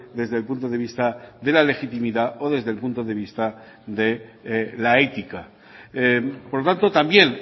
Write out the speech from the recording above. desde el punto de vista de la legitimidad o desde el punto de vista de la ética por lo tanto también